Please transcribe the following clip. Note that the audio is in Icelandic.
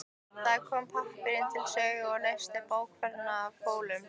Þá kom pappírinn til sögu og leysti bókfellið af hólmi.